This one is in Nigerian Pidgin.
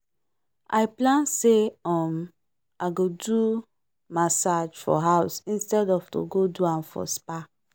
i plan say um i go do massage for house instead of to go do am for spa.